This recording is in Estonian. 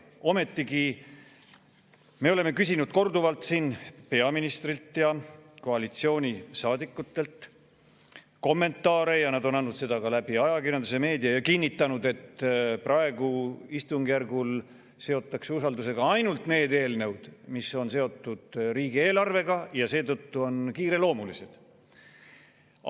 Ometigi, me oleme küsinud korduvalt siin peaministrilt ja koalitsioonisaadikutelt kommentaare ja nad on andnud neid ka läbi ajakirjanduse, meedia, ja kinnitanud, et praegusel istungjärgul seotakse usaldusega ainult need eelnõud, mis on seotud riigieelarvega ja on seetõttu kiireloomulised.